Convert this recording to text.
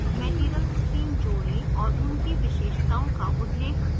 material stream जोड़ें और उनकी विशेषताओं का उल्लेख करें